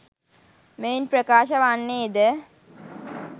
මෙයින් ප්‍රකාශ වන්නේ ද